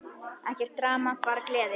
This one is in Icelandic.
Ekkert drama, bara gleði!